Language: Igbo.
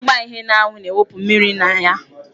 Ịgba ihe n'anwụ na-ewụpụ mmiri na ya.